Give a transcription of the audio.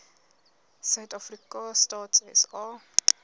suidafrika stats sa